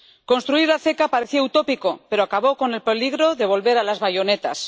Construir la CECA parecía utópico, pero acabó con el peligro de volver a las bayonetas.